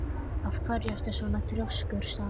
Af hverju ertu svona þrjóskur, Salín?